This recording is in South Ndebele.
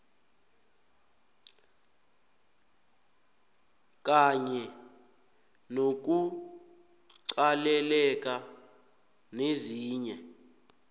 kanye nokuqalelela nezinye